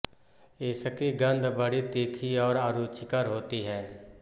इसकी गंध बड़ी तीखी और अरुचिकर होती है